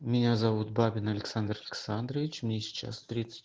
меня зовут бабин александр александрович мне сейчас тридцать